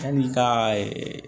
Yanni ka